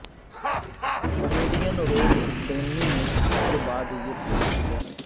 comedian Rob ڈینلی نے اس کے بعد یہ پوسٹ کیا